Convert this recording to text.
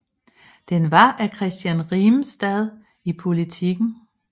Den var af Christian Rimestad i Politiken